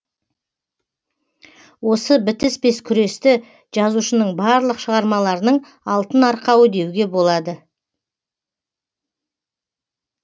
осы бітіспес күресті жазушының барлық шығармаларының алтын арқауы деуге болады